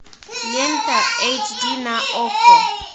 лента эйч ди на окко